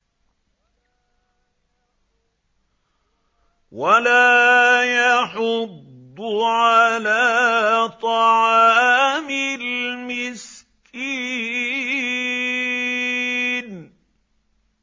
وَلَا يَحُضُّ عَلَىٰ طَعَامِ الْمِسْكِينِ